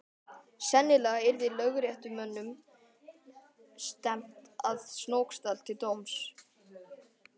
Sennilega yrði lögréttumönnum stefnt að Snóksdal til dóms.